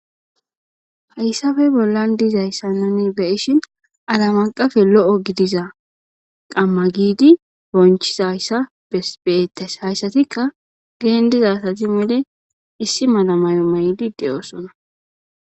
Hayssape bollan dizayssa nuni beishin alamaqafe lo7o gidiza qamma giidi bonchiza yssa ebeettes hayssatikka geen diza asati mele issi malamayo maydi de7oosona.